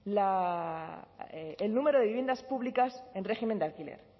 el número de viviendas públicas en régimen de alquiler